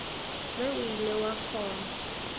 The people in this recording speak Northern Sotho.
ge o ile wa kgona